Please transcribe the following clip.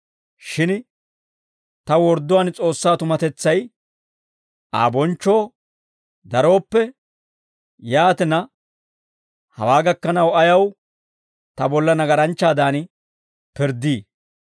Shin ta wordduwaan S'oossaa tumatetsay Aa bonchchoo darooppe, yaatina, hawaa gakkanaw ayaw ta bolla nagaranchchaadan pirddii?